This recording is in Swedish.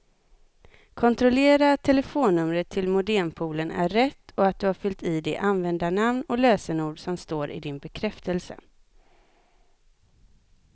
Kontrollera att telefonnumret till modempoolen är rätt och att du har fyllt i det användarnamn och lösenord som står i din bekräftelse.